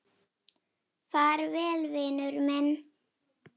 Far vel, vinur minn.